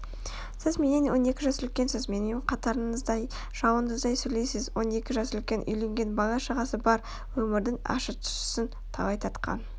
сіз менен он екі жас үлкенсіз менімен қатарыңыздай жауыңыздай сөйлейсіз он екі жас үлкен үйленген бала-шағасы бар өмірдің ащы-тұщысын талай татқан